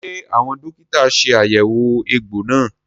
Ṣé àwọn dókítà ṣe àyẹ̀wò egbò náà?